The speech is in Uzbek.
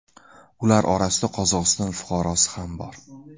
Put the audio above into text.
Ular orasida Qozog‘iston fuqarosi ham bor.